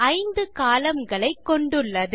5 columnகளை கொண்டுள்ளது